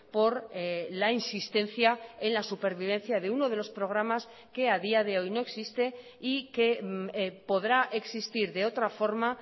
por la insistencia en la supervivencia de uno de los programas que a día de hoy no existe y que podrá existir de otra forma